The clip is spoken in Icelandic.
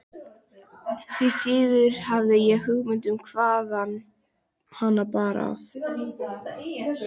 Því síður hafði ég hugmynd um hvaðan hana bar að.